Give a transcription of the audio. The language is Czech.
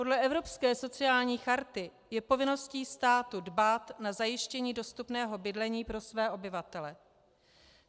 Podle Evropské sociální charty je povinností státu dbát na zajištění dostupného bydlení pro své obyvatele.